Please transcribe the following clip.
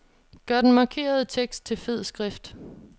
Gør den markerede tekst til fed skrift.